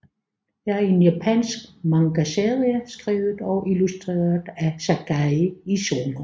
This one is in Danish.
er en japansk mangaserie skrevet og illustreret af Sakae Esuno